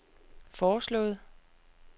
foreslået